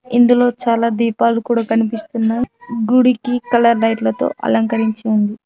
ఇందులో చాలా దీపాలు కూడా కనిపిస్తున్నాయ్ గుడికి కలర్ లైట్లతో అలంకరించి ఉంది.